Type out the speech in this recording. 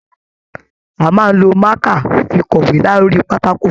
A máa n ló maka fí kọwe lórí pátákó funfun.